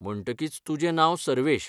म्हणटकीच तुजें नांव सर्वेश.